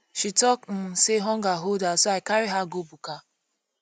she tok um sey hunger hold her so i carry her go buka